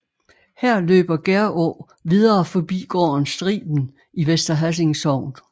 Her løber Gerå videre forbi gården Striben i Vester Hassing Sogn